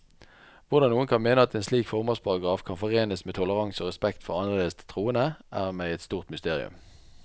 Hvordan noen kan mene at en slik formålsparagraf kan forenes med toleranse og respekt for annerledes troende, er meg et stort mysterium.